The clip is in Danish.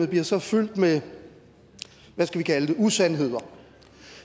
bliver så fyldt med hvad skal vi kalde det usandheder